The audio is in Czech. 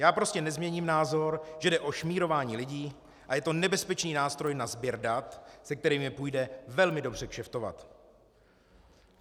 Já prostě nezměním názor, že jde o šmírování lidí a je to nebezpečný nástroj na sběr dat, se kterými půjde velmi dobře kšeftovat.